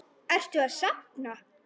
Ertu að safna?